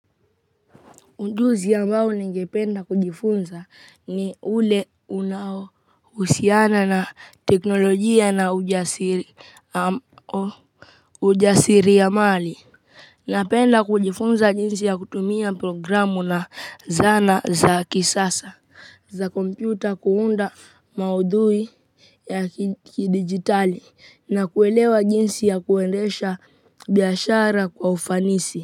Ujuzi ambao ningependa kujifunza ni ule unao husiana na teknolojia na ujasiri, ujasiria mali. Napenda kujifunza jinsi ya kutumia programu na zana za kisasa za kompyuta kuunda maudhui ya kidigitali na kuelewa jinsi ya kuendesha biashara kwa ufanisi.